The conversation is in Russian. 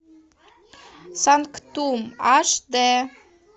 санктум аш д